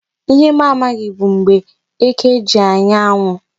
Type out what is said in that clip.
Ihe m amaghị bụ mgbe eke ji anya anwụ.